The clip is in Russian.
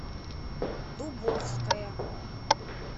дубовская